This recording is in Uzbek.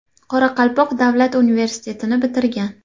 Qoraqalpoq davlat universitetini bitirgan.